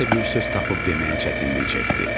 Nə isə bir söz tapıb deməyə çətinlik çəkdi.